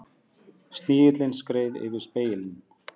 Snigillinn skreið yfir spegilinn.